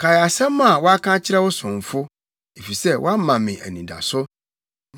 Kae asɛm a woaka akyerɛ wo somfo, efisɛ woama me anidaso.